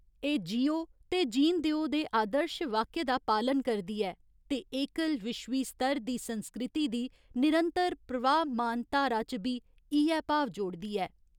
एह् जियो ते जीन देओ दे आदर्श वाक्य दा पालन करदी ऐ ते एकल विश्वी स्तर दी संस्कृति दी निरंतर प्रवाहमान धारा च बी इ'यै भाव जोड़दी ऐ।